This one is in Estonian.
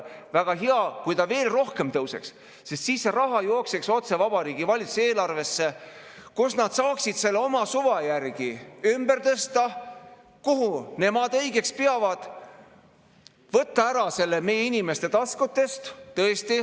Väga hea, kui ta veel rohkem tõuseks, sest siis see raha jookseks otse Vabariigi Valitsusele eelarvesse, kus nad saaksid selle oma suva järgi ümber tõsta, kuhu nemad õigeks peavad, võtta ära selle meie inimeste taskutest.